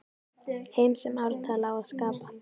Heim sem ártal á að skapa.